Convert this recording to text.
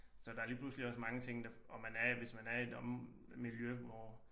Så der er lige pludselig også mange ting der og man er hvis man er i et miljø hvor